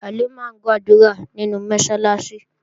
Halimah ń gbàdúrà nínú Mọ́sálásí